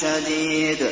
شَدِيدٍ